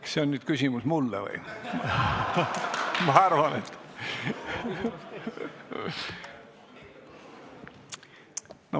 Kas see küsimus oli mulle?